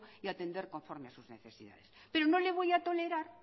y atender conforme a sus necesidades pero no le voy a tolerar